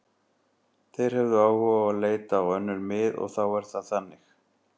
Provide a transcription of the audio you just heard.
Þeir höfðu áhuga á að leita á önnur mið og þá er það þannig.